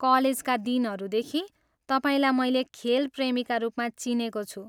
कलेजका दिनहरूदेखि, तपाईँलाई मैले खेल प्रमीका रूपमा चिनेको छु।